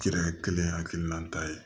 Kirikɛ kelen hakilina ta ye